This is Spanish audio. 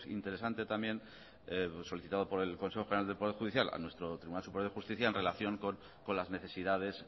interesante también solicitado por el consejo general del poder judicial a nuestro tribunal superior de justicia en relación con las necesidades